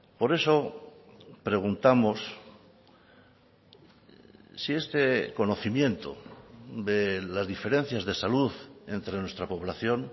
por eso preguntamos si este conocimiento de las diferencias de salud entre nuestra población